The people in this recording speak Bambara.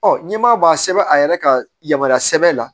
n'i m'a bɔ a sɛbɛn a yɛrɛ ka yamaruya sɛbɛn la